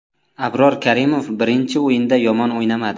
Abror Karimov birinchi o‘yinda yomon o‘ynamadi.